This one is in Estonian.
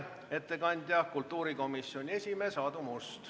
Ettekandja on kultuurikomisjoni esimees Aadu Must.